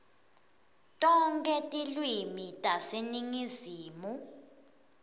tonkhe tilwimi taseningizimu